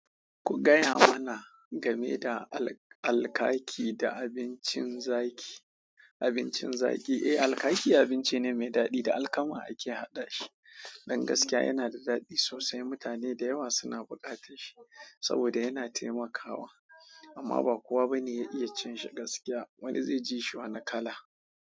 Ku gaya mana game da al-alkaki da abincin zaki. Abincin zaki, eh, alkaki abinci ne mai daɗi da alkama ake haɗa shi. Don gaskiya yana da daɗi sosai. Mutane da yawa suna buƙatar shi saboda yana taimakawa, amma ba kowa ba ne ya iya cin shi gaskiya. Wani zai ji shi wa na kala.